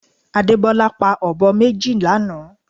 Adebola pa ọ̀bọ méjì lánàá